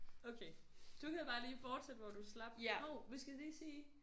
Okay du kan bare lige fortsætte hvor du slap hov vi skal lige sige